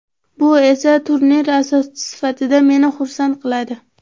Bu esa turnir asoschisi sifatida meni xursand qiladi.